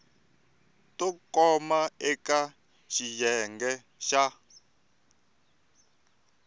to koma eka xiyenge xa